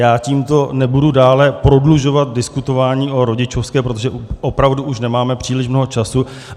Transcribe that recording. Já tímto nebudu dále prodlužovat diskutování o rodičovské, protože opravdu už nemáme příliš mnoho času.